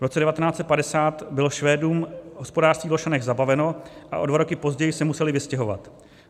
V roce 1950 bylo Švédům hospodářství v Lošanech zabaveno a o dva roky později se museli vystěhovat.